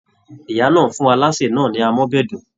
Ìyá náà fún alase náà ni àmọ́bẹ̀dùn.